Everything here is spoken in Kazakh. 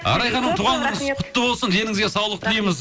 арай ханым туған күніңіз құтты болсын деніңізге саулық тілейміз